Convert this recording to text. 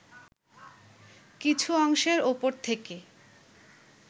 কিছু অংশের ওপর থেকে